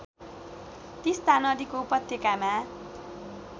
तिस्‍ता नदीको उपत्यकामा